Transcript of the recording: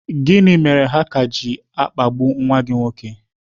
Gịnị mere ha ka ji na-akpagbu nwa gị nwoke?